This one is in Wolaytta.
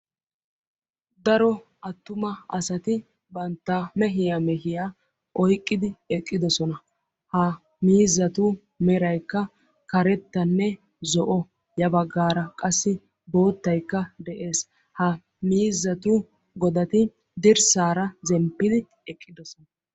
Daro attuma asati banttaa meehiya meehiya oyqqidi eqqidoosona; ha miizzatu meraykka karettanne zo'o; ha miizzatu godati dirssara zemppidi eqqidoosona.